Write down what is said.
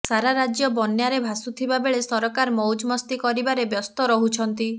ସାରା ରାଜ୍ୟ ବନ୍ୟାରେ ଭାସୁଥିବାବେଳେ ସରକାର ମଉଜ ମସ୍ତି କରିବାରେ ବ୍ୟସ୍ତ ରହୁଛନ୍ତି